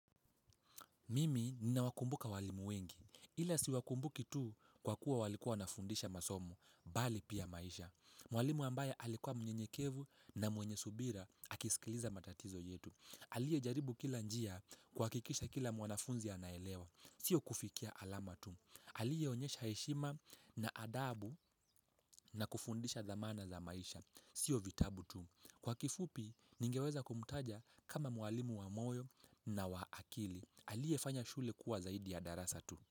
Mimi ninawakumbuka walimu wengi, ila siwakumbuki tu kwa kuwa walikuwa nafundisha masomo, bali pia maisha. Mwalimu ambaye alikuwa mnyenyekevu na mwenye subira, akisikiliza matatizo yetu. Alie jaribu kila njia kuhakikisha kila mwanafunzi anaelewa, sio kufikia alama tu. Alie onyesha heshima na adabu na kufundisha dhamana za maisha, sio vitabu tu. Kwa kifupi, ningeweza kumtaja kama mwalimu wa moyo na wa akili. Aliyefanya shule kuwa zaidi ya darasa tu.